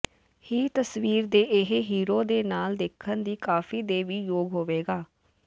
ਹੀ ਤਸਵੀਰ ਦੇ ਇਹ ਹੀਰੋ ਦੇ ਨਾਲ ਦੇਖਣ ਦੀ ਕਾਫ਼ੀ ਦੇ ਵੀ ਯੋਗ ਹੋਵੇਗਾ